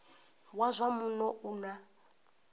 wa zwa muno u na